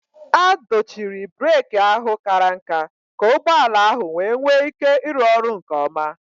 A dochiri breeki ahụ kàrà nká ka ụgbọ ala ahụ wee nwee ike ịrụ ọrụ nke ọma